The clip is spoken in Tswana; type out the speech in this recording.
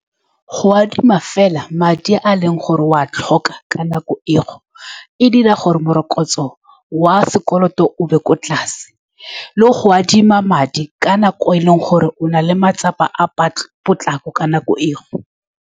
Go adima fela madi a e leng gore o a tlhoka ka nako eo, e dira gore morokotso wa sekoloto o nne kwa tlase. Le go adima madi ka nako e e leng gore o na le matsapa a patlo, potlako ka nako eo.